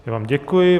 Já vám děkuji.